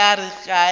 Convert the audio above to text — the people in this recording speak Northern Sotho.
mme ya re ka ge